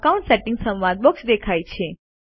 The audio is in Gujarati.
અકાઉન્ટ સેટિંગ્સ સંવાદ બોક્સ દેખાય છે